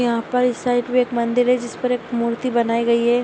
यहां पर इस साइड पर एक मंदिर है जिस पर एक मूर्ति बनाई गई है।